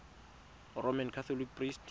roman catholic priest